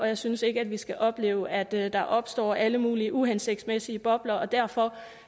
jeg synes ikke at vi skal opleve at der der opstår alle mulige uhensigtsmæssige bobler derfor